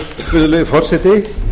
virðulegi forseti